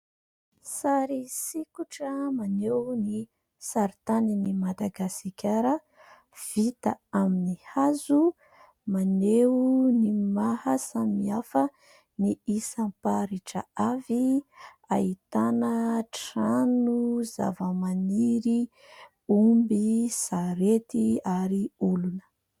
Sary sikotra maneo ny saritanin'i Madagasikara vita amin'ny hazo maneo ny maha samihafa ny isam-paritra avy ahitana trano, zava-maniry, omby, sarety ary olona.